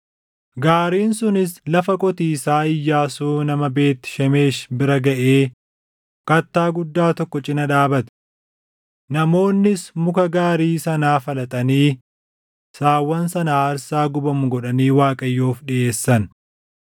Gaariin sunis lafa qotiisaa Iyyaasuu nama Beet Shemeshi bira gaʼee kattaa guddaa tokko cina dhaabate. Namoonnis muka gaarii sanaa falaxanii saawwan sana aarsaa gubamu godhanii Waaqayyoof dhiʼeessan.